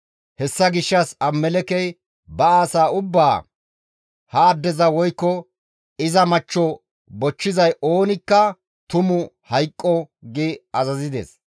Hessa gishshas Abimelekkey ba asaa ubbaa, «Ha addeza woykko iza machcho bochchizay oonikka tumu hayqqo» gi azazides.